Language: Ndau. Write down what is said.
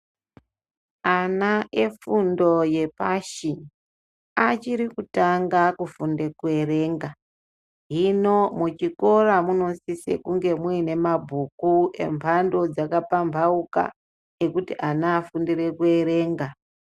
Ana efundo yepasi achiri kutanga kufunda kuerenga hino muchikora munosise kunge muine mabhuku emhando dzakapambauka ekuti ana afundire kuerenga .